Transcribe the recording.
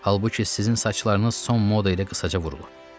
Halbuki sizin saçlarınız son moda ilə uzaca vurulub.